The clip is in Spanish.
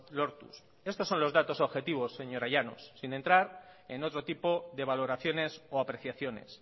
lortuz estos son los datos objetivos señora llanos sin entrar en otro tipo de valoraciones o apreciaciones